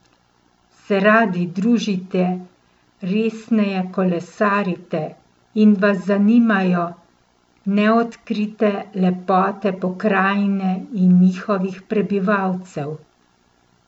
Se radi družite, resneje kolesarite in vas zanimajo neodkrite lepote pokrajine in njihovih prebivalcev?